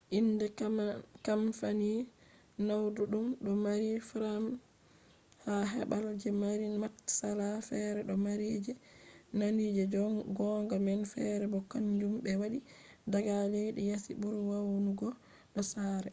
inde kamfani naudum do mari frames ha babal je mari matsala; fere do mari je nandi je gonga man fere bo kanjum be waddi daga leddi yasi buri nawugo do sare